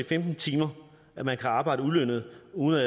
femten timer man kan arbejde ulønnet uden at